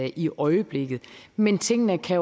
i øjeblikket men tingene kan